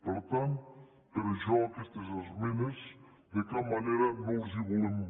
per tant per això aquestes esmenes de cap manera no les hi volem